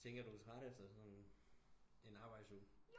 Jeg tænker du er træt efter sådan en arbejdsuge